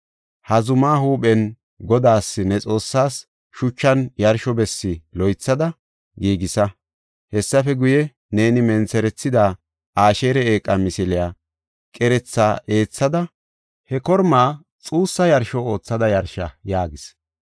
Ha zumaa huuphen Godaas ne Xoossaas, shuchan yarsho bessi loythada giigisa. Hessafe guye, neeni mentherethida Asheera eeqa misiliya qeretha eethada, he kormaa xuussa yarsho oothada yarsha” yaagis.